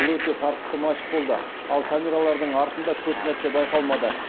бұл өте тартысты матч болды ал камералардың артында көп нәрсе байқалмады